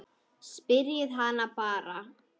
Spyrjið hana bara.